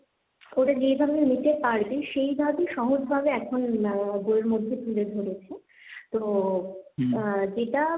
ওরা যেভাবে নিতে পারবে, সেই ভাবে সহজ ভাবে এখন বইয়ের মধ্যে তুলে ধরেছে। তো, আহ যেটা